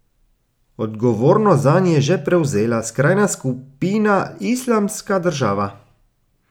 Odgovornost zanj je že prevzela skrajna skupina Islamska država.